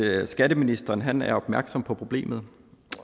at skatteministeren er opmærksom på problemet